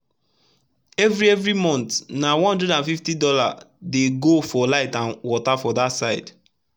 everi everi month na $150 dey go for light and water for dat side